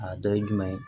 A dɔ ye jumɛn ye